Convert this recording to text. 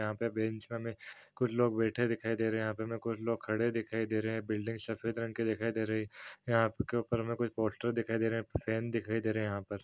यहाँ पे बेंच में हमें कुछ लोग बैठे दिखाई दे रहे है यहाँ पे हमें कुछ लोग खड़े दिखाई दे रहे है बिल्डिंग सफेद रंग की दिखाई दे रही है यहाँ के ऊपर में कुछ पोस्टर दिखाई दे रहे है फैन दिखाई दे रहे है यहाँ पर --